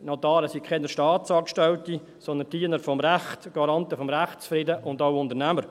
Notare sind keine Staatsangestellte, sondern Diener des Rechts, Garanten des Rechtsfriedens und auch Unternehmer.